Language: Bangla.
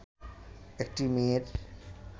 একটি মেয়ের